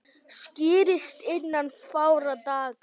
Skýrist innan fárra daga